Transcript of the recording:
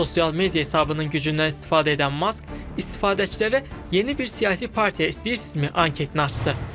Sosial media hesabının gücündən istifadə edən Mask istifadəçilərə yeni bir siyasi partiya istəyirsinizmi anketini açdı.